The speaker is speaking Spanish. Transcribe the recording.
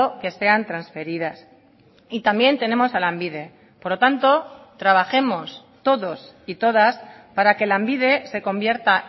que sean transferidas y también tenemos a lanbide por lo tanto trabajemos todos y todas para que lanbide se convierta